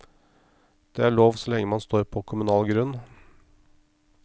Det er lov så lenge man står på kommunal grunn.